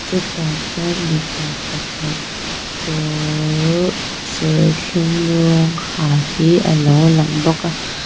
chutah chuan mipa pakhat kawr serthum rawng ha hi a lo lang bawk a.